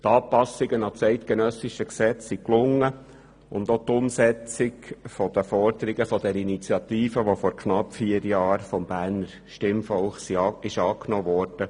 Die Anpassungen an das eidgenössische Gesetz sind gelungen, ebenso jene an die Forderungen der Initiative, die vor knapp vier Jahren vom Berner Stimmvolk angenommen wurde.